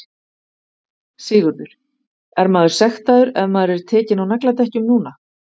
Sigurður: Er maður sektaður ef maður er tekinn á nagladekkjum núna?